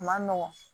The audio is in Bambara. A ma nɔgɔn